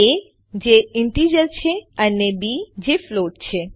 એ જે ઇનટીજર છે છે અને બી જે ફ્લોટ છે